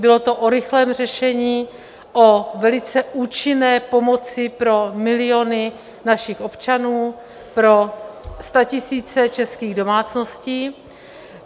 Bylo to o rychlém řešení, o velice účinné pomoci pro miliony našich občanů, pro statisíce českých domácností.